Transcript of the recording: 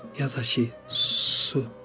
Ya da ki, su.